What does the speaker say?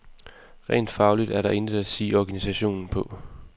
Rent fagligt er der intet at sige organisationen på.